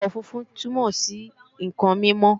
àwọ̀ funfun túnmọ̀ sí ǹkan mímọ́